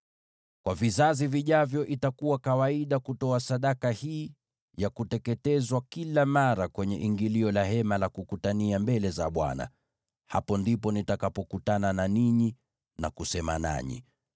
“Kwa vizazi vijavyo itakuwa kawaida kutoa sadaka hii ya kuteketezwa kila mara kwenye ingilio la Hema la Kukutania mbele za Bwana . Hapo ndipo nitakapokutana na ninyi na kusema nanyi,